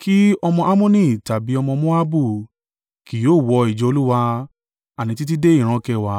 Kí ọmọ Ammoni tàbí ọmọ Moabu, kì yóò wọ ìjọ Olúwa, àní títí dé ìran kẹwàá,